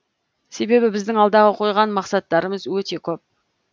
себебі біздің алдағы қойған мақсаттарымыз өте көп